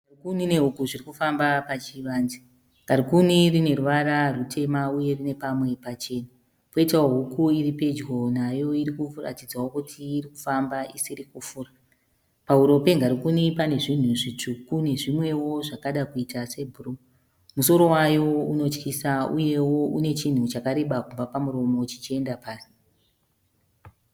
Ngarikuni nehuku zvirikufamba pachivanze ngarikuni rine ruvara rwutema uye rine pamwe pachena poitawo huku iripedyo nayo irikuratidzawo kuti irikufamba isiri kufura. Pahuro pengarikuni pane zvinhu zvitsvuku nezvimwewo zvakadakuita sebhuruu, musoro waro unotyisa uyewo unechinhu chakareba kubva pamuromo zvichienda pasi.